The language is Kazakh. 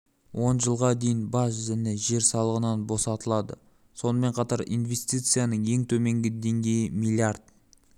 он жылға дейін баж және жер салығынан босатылады сонымен қатар инвестицияның ең төменгі деңгейі миллиард